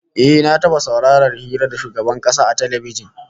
Eh, na taba saurarar hira da shugaban kasa a talbijin